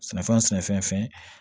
Sɛnɛfɛn sɛnɛfɛn